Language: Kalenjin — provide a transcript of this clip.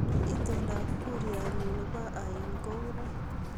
Itondoab kursat nyu nebo ain kounee